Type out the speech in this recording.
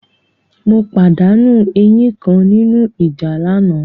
Mo pàdánù eyín kan nínú ìjà lánàá.